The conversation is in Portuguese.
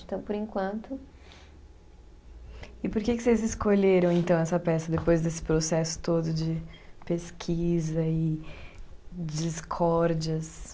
Então, por enquanto. E por que que vocês escolheram, então, essa peça, depois desse processo todo de pesquisa e discórdias?